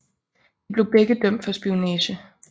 De blev begge dømt for spionage